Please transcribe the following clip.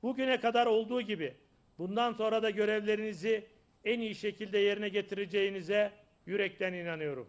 Bugünə qədər olduğu kimi, bundan sonra da vəzifələrinizi ən yaxşı şəkildə yerinə yetirəcəyinizə ürəkdən inanıram.